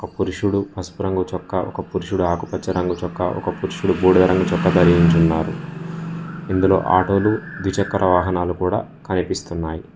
పురుషుడు పసుపురంగూ చొక్కా ఒక పురుషుడు ఆకుపచ్చ రంగు చొక్క ఒక పురుషుడు బూడిద రంగు ధరించియున్నారు ఇందులో ఆటోలు ద్వి చక్ర వాహనాలు కూడా కనిపిస్తున్నాయి.